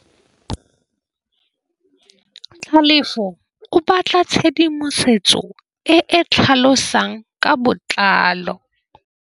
Tlhalefô o batla tshedimosetsô e e tlhalosang ka botlalô.